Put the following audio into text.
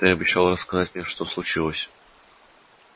ты обещал рассказать мне что случилось